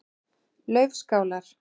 Laufskálar